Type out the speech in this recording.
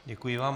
Děkuji vám.